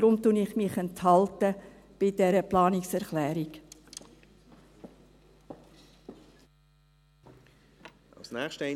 Deshalb werde ich mich bei dieser Planungserklärung enthalten.